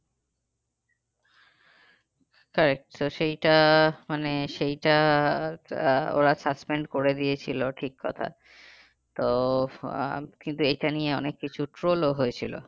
তো সেইটা মানে সেইটা আহ ওরা suspend করে দিয়েছিলো ঠিক কথা তো আহ কিন্তু এটা নিয়ে অনেক কিছু troll ও হয়েছিল।